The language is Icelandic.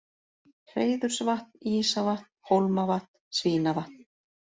Hreiðursvatn, Ísavatn, Hólmavatn, Svínavatn